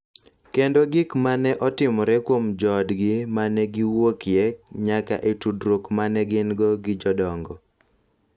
Kendo gik ma ne otimore kuom joodgi ma ne giwuokye nyaka e tudruok ma ne gin-go gi jodongo.